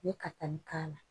N ye katali k'ala